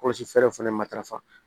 Kɔlɔsi fɛɛrɛw fɛnɛ matarafa